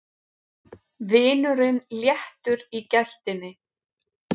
Vinurinn léttur í gættinni.